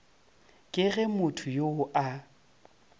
ke ge motho yo a